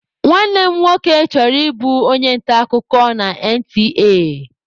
Nwanne m nwoke chọrọ ịbụ onye nta akụkọ na NTA(Nigerian Television Authority)